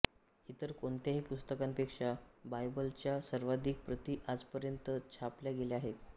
इतर कोणत्याही पुस्तकापेक्षा बायबलच्या सर्वाधिक प्रती आजपर्यंत छापल्या गेल्या आहेत